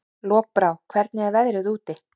Lokbrá, hvernig er veðrið úti?